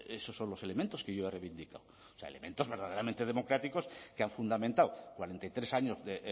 esos son los elementos que yo he reivindicado elementos verdaderamente democráticos que han fundamentado cuarenta y tres años de